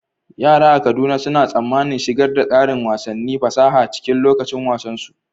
Yara a Kaduna suna tsammanin shigar da ƙarin wasannin fasaha cikin lokacin wasan su.